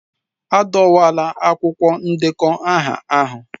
Adọwala akwụkwọ ndekọ aha ahụ.